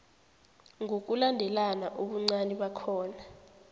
ngokulandelana ubuncani bakhona